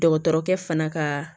Dɔgɔtɔrɔkɛ fana ka